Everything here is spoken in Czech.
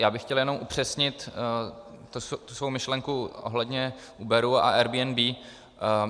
Já bych chtěl jenom upřesnit tu svou myšlenku ohledně Uberu a Airbnb.